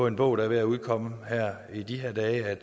en bog der er ved at udkomme i de her dage at